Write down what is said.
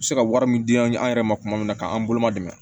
U bɛ se ka wari min di an yɛrɛ ma tuma min na k'an boloma dɛmɛ